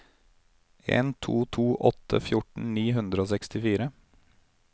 en to to åtte fjorten ni hundre og sekstifire